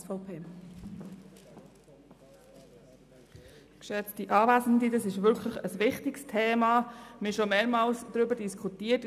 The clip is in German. Das ist wirklich ein wichtiges Thema, und wir haben bereits mehrmals darüber diskutiert.